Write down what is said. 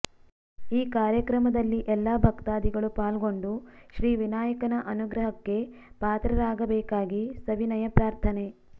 ಈ ಕಾರ್ಯಕ್ರಮದಲ್ಲಿ ಎಲ್ಲ ಭಕ್ತಾದಿಗಳು ಪಾಲ್ಗೊಂಡು ಶ್ರೀ ವಿನಾಯಕನ ಅನುಗ್ರಹಕ್ಕೆ ಪಾತ್ರರಾಗಬೇಕಾಗಿ ಸವಿನಯ ಪ್ರಾರ್ಥನೆ